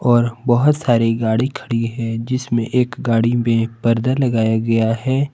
और बहुत सारी गाड़ी खड़ी है जिसमें एक गाड़ी में परदा लगाया गया है।